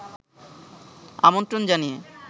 আমন্ত্রণ জানিয়ে